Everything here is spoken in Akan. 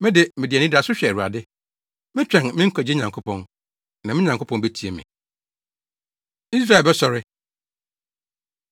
Me de, mede anidaso hwɛ Awurade, Metwɛn me Nkwagye Nyankopɔn; na me Nyankopɔn betie me. Israel Bɛsɔre